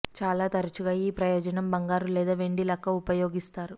చాలా తరచుగా ఈ ప్రయోజనం బంగారు లేదా వెండి లక్క ఉపయోగిస్తారు